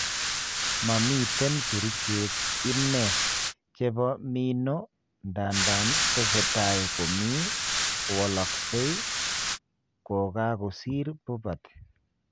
Momiten kerichek ine chepo mino ndandan tesetai komie kowalaksei kogagosir puberty.